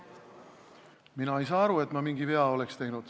Mina ei saa aru, et ma mingi vea oleksin teinud.